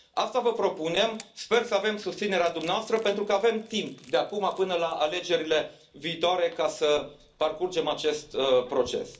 Asta vă propunem, sper să avem susținerea dumneavoastră, pentru că avem timp, de acum până la alegerile viitoare, să parcurgem acest proces.